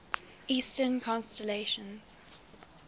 eastern constellations